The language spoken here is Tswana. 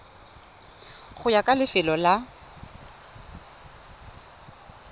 go ya ka lefelo la